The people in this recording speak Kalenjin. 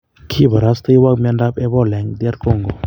kiiparastewok miandop epoola en Dr kongo